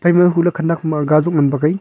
hule khenek maga chu mat bak.